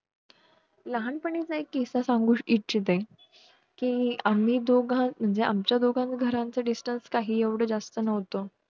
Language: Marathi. लहानपणी चा एक किस्सा सांगु इच्छिते कि आम्ही दोघ म्हणजे आमच्या दोघ घराच distance काही येवढं जास्त नव्हतं